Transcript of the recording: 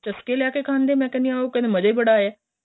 ਚਸਕੇ ਲੈਕੇ ਖਾਂਦੇ ਨੇ ਮੈਂ ਕਹਿਣੀ ਹਾਂ ਉਹ ਕਹਿੰਦੇ ਮਜਾਂ ਹੀ ਬੜਾ ਆਇਆਂ